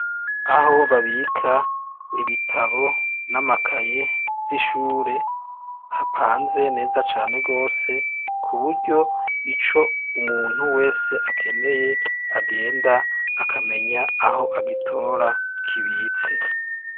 Aho babika ibitabo n'amakaye vy'ishure hapanze neza cane rwose ku buryo ico umuntu wese akeneye agenda akamenya aho agitora kibitse.